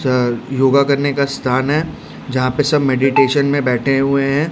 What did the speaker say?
योगा करने का स्थान है जहां पे सब मेडिटेशन में बैठे हुए हैं।